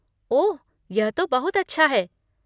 ओह, यह तो बहुत अच्छा है।